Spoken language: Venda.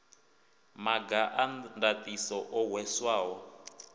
maga a ndaṱiso o hweswaho